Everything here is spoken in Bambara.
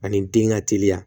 Ani den ka teliya